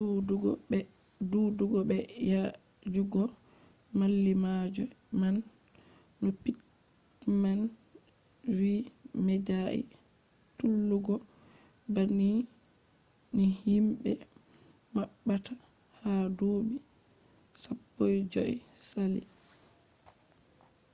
duudugo be yaajugo mallimalloje man no pittman vi medai tullugo banni ni himbe mabbata ha duubi 15 je sali